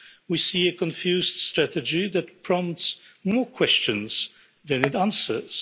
We see a confused strategy that prompts more questions than it answers.